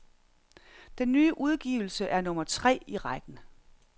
Den nye udgivelse er nummer tre i rækken.